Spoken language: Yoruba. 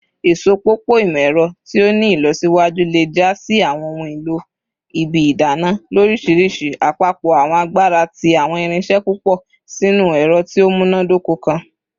Isopọpọ imọ-ẹrọ ti o ni ilọsiwaju le ja si awọn ohun elo ibi idana lorishirishi, apapọ awọn agbara ti awọn irinṣẹ pupọ sinu ẹrọ ti o munadoko kan.